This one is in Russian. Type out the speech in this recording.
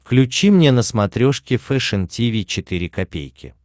включи мне на смотрешке фэшн ти ви четыре ка